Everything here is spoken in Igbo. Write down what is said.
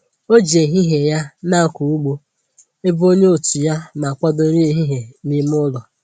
O ji ehihie ya na akọ ụgbọ ebe onye otu ya na akwado nri ehihie n'ime ụlọ